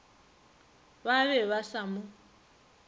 ba be ba sa mo